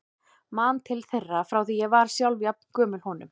Man til þeirra frá því ég var sjálf jafn gömul honum.